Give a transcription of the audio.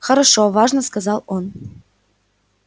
хорошо важно сказал он